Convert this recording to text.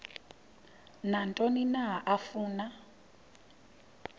nantoni na afuna